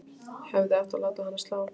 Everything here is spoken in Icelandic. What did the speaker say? Hefði átt að láta hana slá.